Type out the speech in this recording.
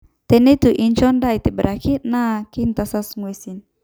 Teneitu inchoo edaa aitobiraki na kitasas nguesin